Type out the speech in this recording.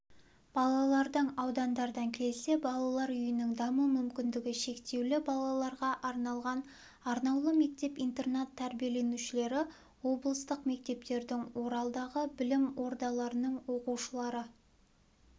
балалардың аудандардан келсе балалар үйінің даму мүмкіндігі шектеулі балаларға арналған арнаулы мектеп-интернат тәрбиеленушілері облыстық мектептердің оралдағы білім ордаларының оқушылары